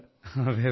so you are lucky